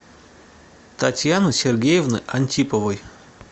татьяны сергеевны антиповой